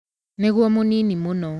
Nĩguo mũnini mũno.